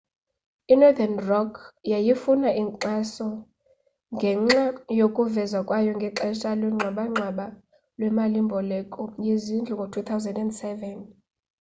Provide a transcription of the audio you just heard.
i-northern rock yayifuna inkxaso ngenxa yokuvezwa kwayo ngexesha lwengxabangxaba lwemali mboleko yezindlu ngo-2007